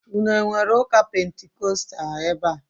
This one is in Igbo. Ụnụ enwere ụka pentikóstal ebea?